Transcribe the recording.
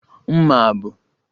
Mma a bụ